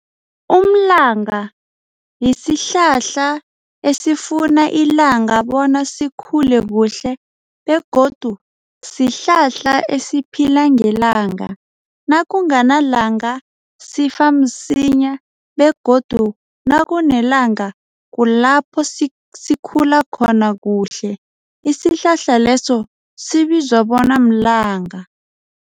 Umlanga yisihlahla esifuna ilanga bona sikhule kuhle begodu sihlahla esiphila ngelanga. Nakunganalanga sifa msinya begodu nakunelanga kulapho sikhula khona kuhle. Isihlahla leso sibizwa bona mlanga.